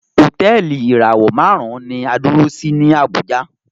Hotẹẹli ìràwọ márùn ní a dúró sí ni Abuja